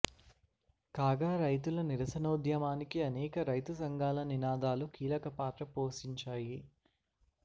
కాగా రైతుల నిరసనోద్యమానికి అనేక రైతు సంఘాల నినాదాలు కీలక పాత్ర పోషించాయి